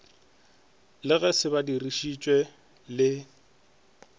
le ge se badišitšwe le